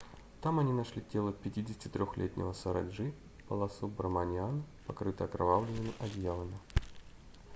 там они нашли тело 53-летнего сароджи баласубраманиана покрытое окровавленными одеялами